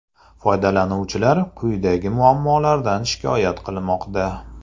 Foydalanuvchilar quyidagi muammolardan shikoyat qilmoqda.